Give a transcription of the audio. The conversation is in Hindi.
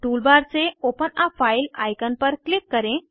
टूलबार से ओपन आ फाइल आईकन पर क्लिक करें